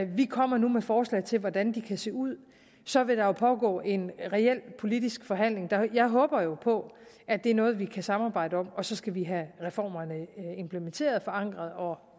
vi kommer med forslag til hvordan de kan se ud og så vil der pågå en reel politisk forhandling jeg håber jo på at det er noget vi kan samarbejde om og så skal vi have reformerne implementeret og forankret og